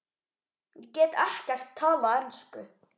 Ég get ekkert talað ensku.